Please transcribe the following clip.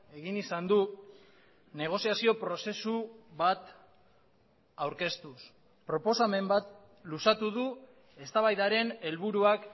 egin izan du negoziazio prozesu bat aurkeztuz proposamen bat luzatu du eztabaidaren helburuak